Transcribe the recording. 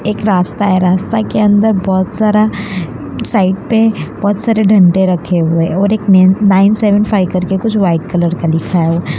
एक रास्ता है रास्ता के अंदर बोहोत सारा साइड पे बोहोत सारे डंडे रखे हुए और एक नाइन सेवन फाइव कर के कुछ व्हाइट कलर का लिखा है।